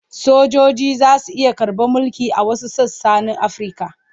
Sojoji za su iya karɓar mulki a wasu sassa na Afirka.